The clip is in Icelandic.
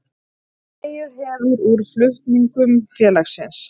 Dregið hefur úr flutningum félagsins